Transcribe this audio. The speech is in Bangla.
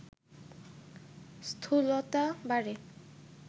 স্থূলতা বাড়ে